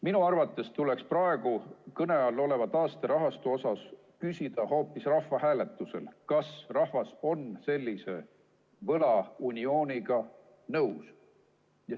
Minu arvates tuleks praegu kõne all oleva taasterahastu kohta küsida hoopis rahvahääletusel, kas rahvas on sellise võlauniooniga nõus.